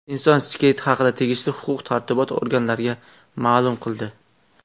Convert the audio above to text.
Inson skeleti haqida tegishli huquq-tartibot organlariga ma’lum qildi.